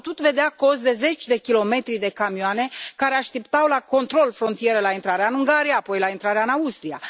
Am putut vedea cozi de zeci de kilometri de camioane, care așteptau la controlul de frontieră la intrarea în Ungaria, apoi la intrarea în Austria.